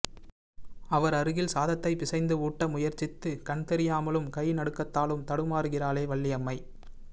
அவர் அருகில் சாதத்தை பிசைந்து ஊட்ட முயற்சித்து கண்தெரியாமலும் கை நடுக்கத்தாலும் தடுமாருகிறாளே வள்ளியம்மை